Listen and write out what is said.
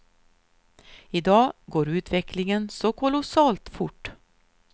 I dag går utvecklingen så kolossalt fort.